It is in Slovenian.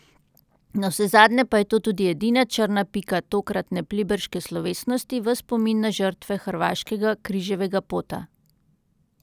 Navsezadnje pa je to tudi edina črna pika tokratne pliberške slovesnosti v spomin na žrtve hrvaškega križevega pota.